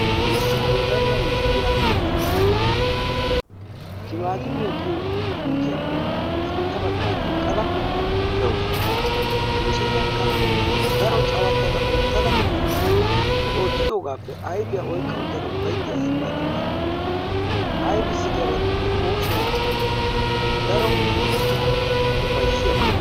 issi wodalla mishiriyaa timaatimiyaa giyoo puutiyaappe sintta bagaara eqqada dawusu ha mishiriyaakka daro cawattada oottada he oottidoogaappe ayfiyaa oyqqa uttadada uffayttiyaa asa malatawusu aybissi giyaaba gidikko oosoy daro ufayissiyaaba.